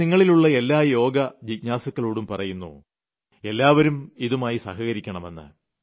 ഞാൻ നിങ്ങളിലുളള എല്ലാ യോഗാജിജ്ഞാസുക്കളോടും പറയുന്നു എല്ലാവരും ഇതുമായി സഹകരിക്കണമെന്ന്